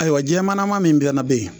Ayiwa jɛmannama min bɛnɛ be ye